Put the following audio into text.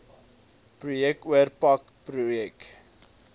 projek oorpak projek